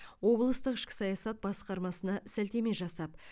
облыстық ішкі саясат басқармасына сілтеме жасап